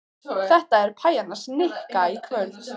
Þetta er pæjan hans Nikka í kvöld.